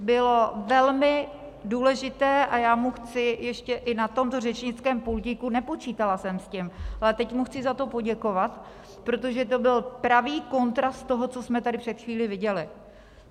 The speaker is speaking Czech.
Bylo velmi důležité, a já mu chci ještě i na tomto řečnickém pultíku, nepočítala jsem s tím, ale teď mu chci za to poděkovat, protože to byl pravý kontrast toho, co jsme tady před chvílí viděli.